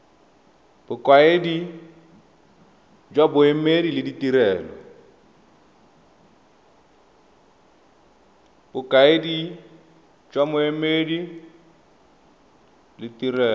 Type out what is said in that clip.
bokaedi jwa boemedi le ditirelo